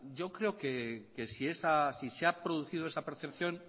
yo creo que si se ha producido esa percepción